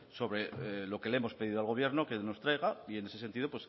sobre lo que le hemos pedido al gobierno que nos traiga y en ese sentido